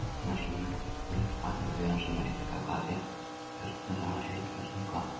Mestur munur er á byggingu litninga baktería, sem eru einnig kallaðar dreifkjörnungar, og heilkjörnunga.